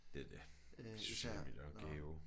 Det er det. Sociale medier er en gave